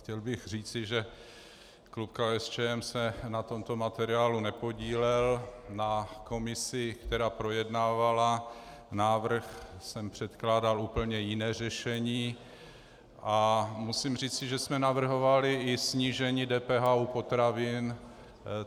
Chtěl bych říci, že klub KSČM se na tomto materiálu nepodílel, na komisi, která projednávala návrh, jsem předkládal úplně jiné řešení, a musím říci, že jsme navrhovali i snížení DPH u potravin.